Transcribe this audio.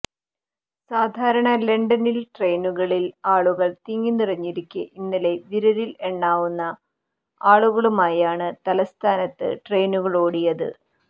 സാധാരണ ലണ്ടനിൽ ട്രെയിനുകളിൽ ആളുകൾ തിങ്ങിനിറഞ്ഞിരിക്കെ ഇന്നലെ വിരലിൽ എണ്ണാവുന്ന ആളുകളുമായാണ് തലസ്ഥാനത്ത് ട്രെയിനുകളോടിയത്